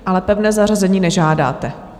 Ale pevné zařazení nežádáte?